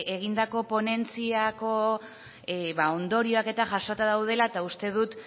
egindako ponentziako ondorioak eta jasota daudela eta uste dut